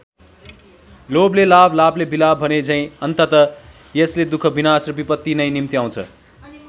लोभले लाभ लाभले विलाप भनेझैँ अन्ततः यसले दुःख विनाश र विपत्ति नै निम्त्याउँछ।